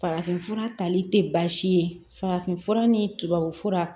Farafinfura tali tɛ baasi ye farafinfura ni tubabufura